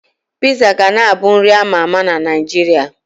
Piizaa ga na abụ nri a ma ama na Naịjirịa.